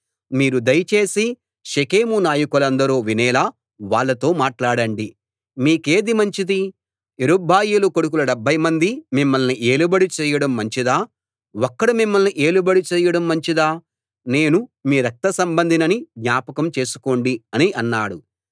మీరు దయ చేసి షెకెము నాయకులందరూ వినేలా వాళ్ళతో మాట్లాడండి మీకేది మంచిది యెరుబ్బయలు కొడుకులు డెబ్భైమంది మిమ్మల్ని ఏలుబడి చేయడం మంచిదా ఒక్కడు మిమ్మల్ని ఏలుబడి చేయడం మంచిదా నేను మీ రక్తసంబంధినని జ్ఞాపకం చేసుకోండి అని అన్నాడు